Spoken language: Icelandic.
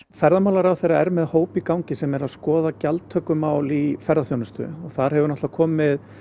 ferðamálaráðherra er með hóp í gangi sem er að skoða gjaldtökumál í ferðaþjónustu og þar hefur náttúrulega komið